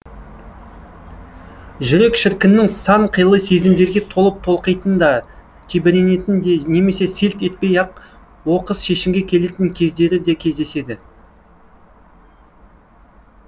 жүрек шіркіннің сан қилы сезімдерге толып толқитын да тебіренетін де немесе селт етпей ақ оқыс шешімге келетін кездері де кездеседі